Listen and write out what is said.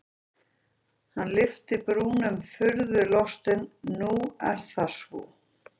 Hann lyfti brúnum furðulostinn:-Nú er það svo?